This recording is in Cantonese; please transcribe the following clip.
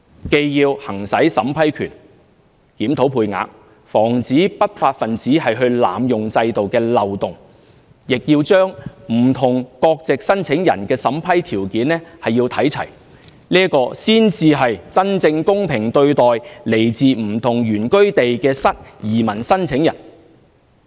既要行使審批權、檢討配額、防止不法分子濫用制度的漏洞，亦要把不同國籍申請人的審批條件看齊，這才是真正公平對待來自不同原居地的移民申請人。